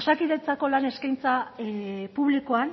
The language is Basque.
osakidetzako lan eskaintza publikoan